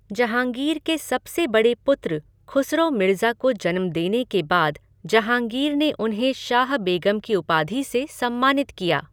जहाँगीर के सबसे बड़े पुत्र खुसरो मिर्जा को जन्म देने के बाद जहाँगीर ने उन्हें शाह बेगम की उपाधि से सम्मानित किया।